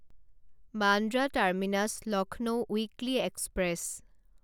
Bandra terminus Lucknow weekly express